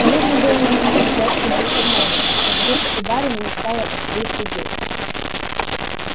и нужно было нанимать в дядьки басурмана как будто у барина не стало и своих людей